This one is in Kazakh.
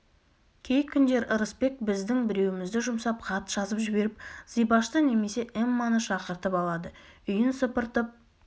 кей күндері ырысбек біздің біреумізді жұмсап хат жазып жіберіп зибашты немесе эмманы шақыртып алады үйін сыпыртып